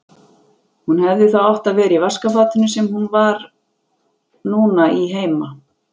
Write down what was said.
Hún hefði þá átt að vera í vaskafatinu sem hún var núna í heima.